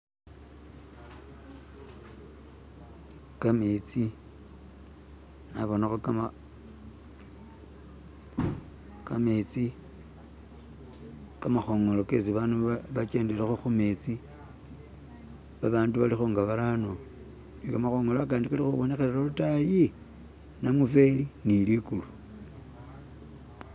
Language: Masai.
kametsi nabonakho gam... gamezi.. kamakhongolo kesi abandu bakendelakho ku metsi. Abandu balikho nga barano ni kamakhongolo akandi kalikubonekhela lwatayi, namufeli ni ni ligulu.